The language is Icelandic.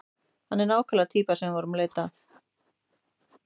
Hann er nákvæmlega týpan sem við vorum að leita að.